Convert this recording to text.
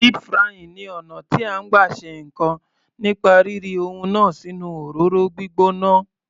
Deep frying ni ọ̀nà tí à ń gbà ṣe ǹkan nípa rí ri ohun náà sínú òróró gbígbóná.